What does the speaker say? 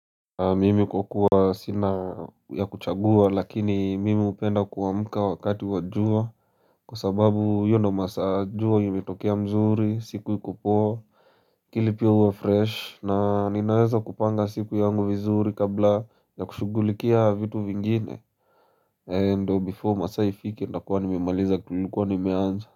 Mimi kwa kuwa sina ya kuchagua, lakini mimi hupenda kuamka wakati wa jua kwa sababu hiyo ndio masaa jua imetokea mzuri, siku ikupoa pili pia uwe fresh na ninaweza kupanga siku yangu vizuri kabla ya kushugulikia vitu vingine na ndio before masaa ifike ntakuwa nimemaliza kitu nilikuwa nimeanza.